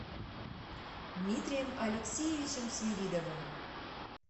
дмитрием алексеевичем свиридовым